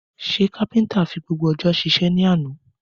Ṣé Kápéntà fi gbogbo ọjọ́ sísé ní àná?